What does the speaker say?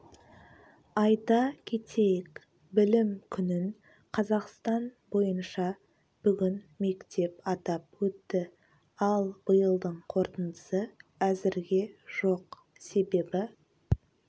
айта кетейік білім күнін қазақстан бойынша бүгін мектеп атап өтті ал биылдың қорытындысы әзірге жоқ себебі